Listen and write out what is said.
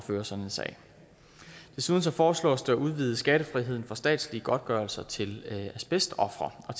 føre sådan en sag desuden foreslås det at udvide skattefriheden for statslige godtgørelser til asbestofre og